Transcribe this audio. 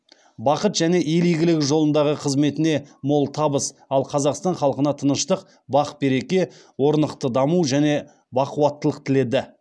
бақыт және ел игілігі жолындағы қызметіне мол табыс ал қазақстан халқына тыныштық бақ береке орнықты даму және бақуаттылық тіледі